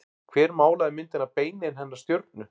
Hver málaði myndina Beinin hennar stjörnu?